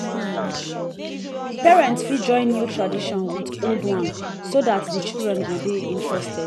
parents fit join new tradition with old one so dat di children go dey interested